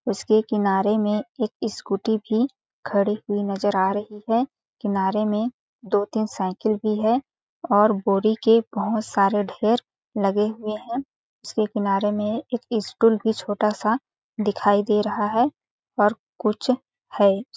उसके किनारे में एक स्कूटी भी खड़ी हुई नज़र आ रही है किनारे में दो-तीन साइकिल भी है और बोरी के बहोत सारे ढेर लगे हुए है उसके किनारे में एक स्टूल भी छोटा-सा दिखाई दे रहा है और कुछ है।